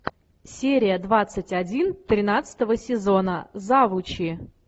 серия двадцать один тринадцатого сезона завучи